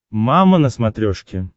мама на смотрешке